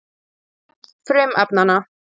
Nöfn frumefnanna.